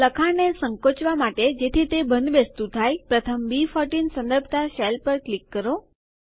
લખાણને સંકોચવા માટે જેથી તે બંધબેસતું થાય પ્રથમ બી14 સંદર્ભતા સેલ પર ક્લિક કરો